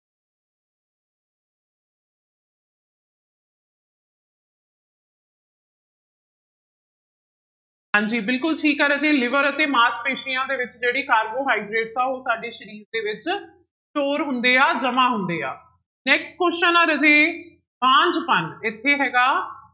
ਹਾਂਜੀ ਬਿਲਕੁਲ ਠੀਕ ਹੈ ਰਾਜੇ liver ਅਤੇ ਮਾਸਪੇਸੀਆਂ ਦੇ ਵਿੱਚ ਜਿਹੜੀ ਕਾਰਬੋਹਾਈਡ੍ਰੇਟਸ ਆ ਉਹ ਸਾਡੇ ਸਰੀਰ ਦੇ ਵਿੱਚ store ਹੁੰਦੇ ਆ ਜਮਾ ਹੁੰਦੇ ਆ next question ਆ ਰਾਜੇ ਬਾਂਝਪਣ ਇੱਥੇ ਹੈਗਾ